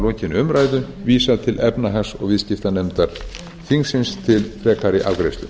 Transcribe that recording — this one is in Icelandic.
að lokinni umræðu vísað til efnahags og viðskiptanefndar þingsins til frekari afgreiðslu